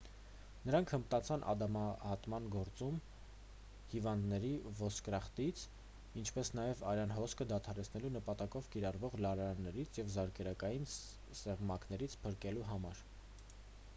նրանք հմտացան անդամահատման գործում հիվանդներին ոսկրախտից ինչպես նաև արյան հոսքը դադարեցնելու նպատակով կիրառվող լարաններից և զարկերակային սեղմակներից փրկելու համար